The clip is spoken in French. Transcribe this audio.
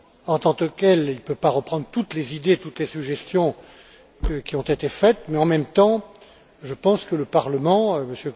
En tant que tel, il ne peut pas reprendre toutes les idées, toutes les suggestions qui ont été faites, mais en même temps, je pense que le Parlement, M.